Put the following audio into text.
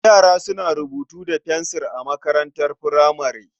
Yara suna rubutu da fensil a makarantar furamare.